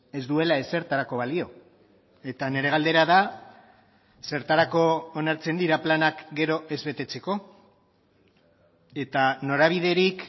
ez duela ezertarako balio eta nire galdera da zertarako onartzen dira planak gero ez betetzeko eta norabiderik